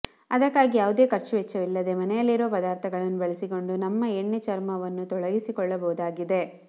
ಅದಕ್ಕಾಗಿ ಯಾವುದೇ ಖರ್ಚುವೆಚ್ಚವಿಲ್ಲದೇ ಮನೆಯಲ್ಲಿರುವ ಪದಾರ್ಥಗಳನ್ನು ಬಳಸಿಕೊಂಡು ನಮ್ಮ ಎಣ್ಣೆ ಚರ್ಮವನ್ನು ತೊಲಗಿಸಿಕೊಳ್ಳಬಹುದಾಗಿದೆ